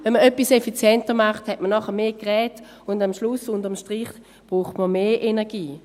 Wenn man etwas effizienter macht, hat man nachher mehr Geräte, und am Schluss braucht man unter dem Strich mehr Energie.